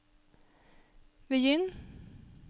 begynn